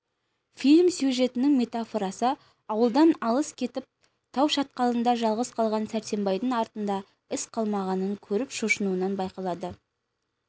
фильм сюжетінің метафорасы ауылдан алыс кетіп тау шатқалында жалғыз қалған сәрсенбайдың артында із қалмағанын көріп шошынуынан байқалады